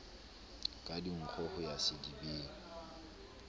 ka dinkgo ho ya sedibeng